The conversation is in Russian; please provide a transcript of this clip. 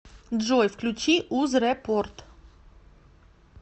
джой включи узрепорт